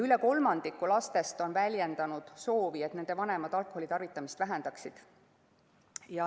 Üle kolmandiku lastest on väljendanud soovi, et nende vanemad alkoholitarvitamist vähendaksid.